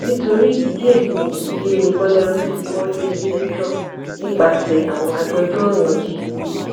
nítorí ìdí èyí ni ilé gbolérù fi mórílẹ iléẹjọ nípasẹ àwọn agbẹjọrò wọn g